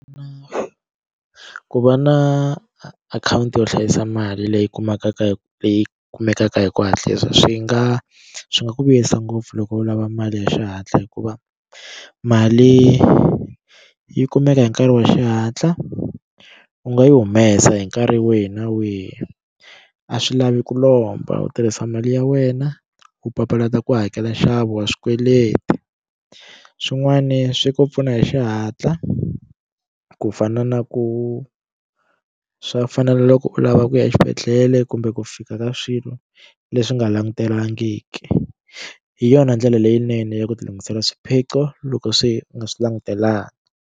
Ku va na akhawunti yo hlayisa mali leyi kumekaka hi leyi kumekaka hi ku hatlisa swi nga swi nga ku vuyisa ngopfu loko u lava mali ya xihatla hikuva mali yi kumeka hi nkarhi wa xihatla u nga yi humesa hi nkarhi wihi na wihi a swi lavi ku lomba u tirhisa mali ya wena u papalata ku hakela nxavo wa swikweleti swin'wani swi ku pfuna hi xihatla ku fana na ku swa fana na loko u lava ku ya exibedhlele kumbe ku fika ka swilo leswi nga langutelangiki hi yona ndlela leyinene ya ku ti lunghisela swiphiqo loko swi u nga swi langutelangi.